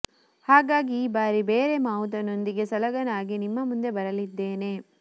ಹಾಗಾಗಿ ಈ ಬಾರಿ ಬೇರೆ ಮಾವುತನೊಂದಿಗೆ ಸಲಗನಾಗಿ ನಿಮ್ಮ ಮುಂದೆ ಬರಲಿದ್ದೇನೆ